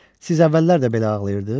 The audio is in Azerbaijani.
Siz əvvəllər də belə ağlayırdız?